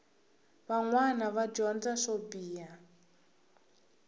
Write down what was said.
vanwana va dyondza swo biha